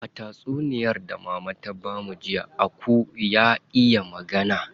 A tatsuniyar da mama ta bamu jiya, aku ya iya magana.